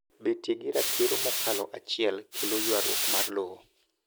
betie gi ratiro mokalo achiel kelo ywaruok mar lowo